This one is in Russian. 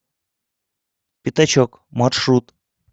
пятачок маршрут